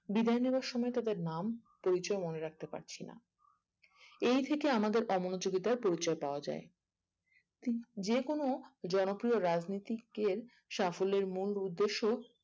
বিদায়ে নেবার সময়ে তাদের নাম পরিচয় মনে রাখতে পারছি না এই থেকে আমাদের অমনযোগিতার পরিচয় পাওয়া যায় যে কোনো জনপ্রিয় রাজনীতিকের সাফল্যের মূল উদ্দেশ্য